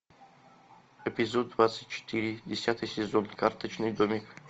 эпизод двадцать четыре десятый сезон карточный домик